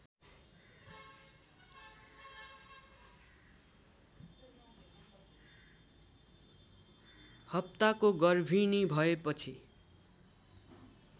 हप्ताको गर्भिणी भएपछि